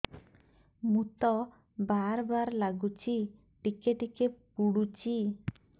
ମୁତ ବାର୍ ବାର୍ ଲାଗୁଚି ଟିକେ ଟିକେ ପୁଡୁଚି